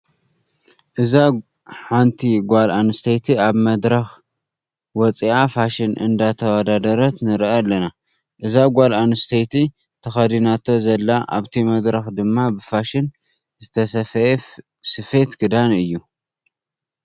እዛ ሓንቲ ጓል ኣነስተይቲ ኣብ መድረክ ወፅኣ ፋሽን እነዳተወዳደረት ንሪኣ ኣለና። እዛ ጓል ኣነስተይቲ ተከዲናቶ ዘላ ኣብቲ መድረክ ድማ ብፋሽን ዝተሰፈየ ስፌት ክዳን እዩ።